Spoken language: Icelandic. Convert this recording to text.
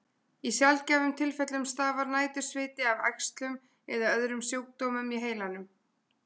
Í sjaldgæfum tilfellum stafar nætursviti af æxlum eða öðrum sjúkdómum í heilanum.